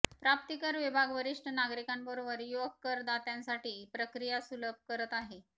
प्राप्तिकर विभाग वरिष्ठ नागरिकांबरोबर युवक करदात्यांसाठी प्रक्रिया सुलभ करत आहे